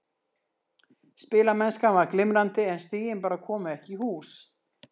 Spilamennskan var glimrandi en stigin bara komu ekki í hús.